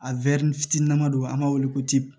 A wɛri fitini nama don an b'a wele ko ti